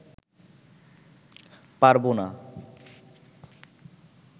পারব না